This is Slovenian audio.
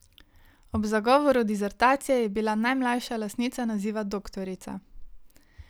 Ob zagovoru disertacije je bila najmlajša lastnica naziva doktorica.